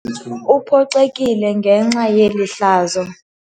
Uphoxekile ngenxa yeli hlazo.